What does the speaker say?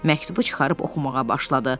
Məktubu çıxarıb oxumağa başladı.